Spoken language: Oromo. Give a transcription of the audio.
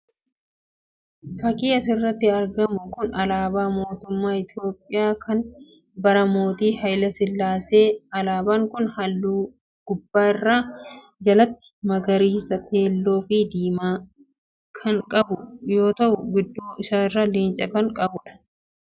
Fakii asirratti argamu kun alaabaa mootummaa Itoophiyaa kan bara Mootii Hayile Sillaaseeti. Alaabaan kun halluu gubbaa gara jalaatti magariisa, keelloo, fi diimaa kan qabu yoo ta'u gidduu isaarraa leenca kan qabudha.